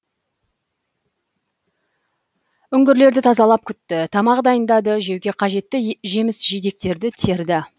үңгірлерді тазалап күтті тамақ дайындады жеуге қажетті жеміс жидектерді терді